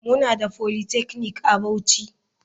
Muna da polytechnic a bauchi.